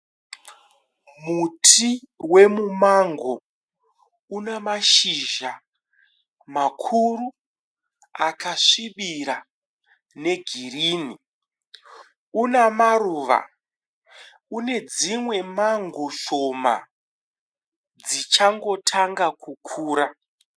Muti weMumango. Una mashizha makuru akasvibira negirini. Unamaruva. Unedzimwe mango shoma dzichangotanga kukura.